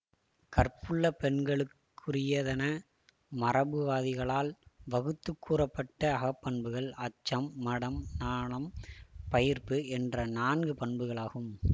கற்புள்ள பெண்களுக்குரியதென மரபுவாதிகளால் வகுத்து கூறப்பட்ட அகப்பண்புகள் அச்சம் மடம் நாணம் பயிர்ப்பு என்ற நான்கு பண்புகளாகும்